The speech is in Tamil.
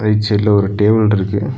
ரைட் சைடுல ஒரு டேபிள் இருக்கு.